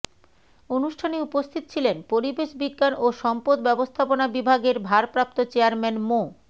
অনুষ্ঠানে উপস্থিত ছিলেন পরিবেশ বিজ্ঞান ও সম্পদ ব্যবস্থাপনা বিভাগের ভারপ্রাপ্ত চেয়ারম্যান মো